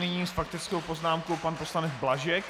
Nyní s faktickou poznámkou pan poslanec Blažek.